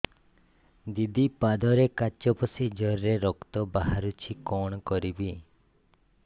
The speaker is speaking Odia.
ଦିଦି ପାଦରେ କାଚ ପଶି ଜୋରରେ ରକ୍ତ ବାହାରୁଛି କଣ କରିଵି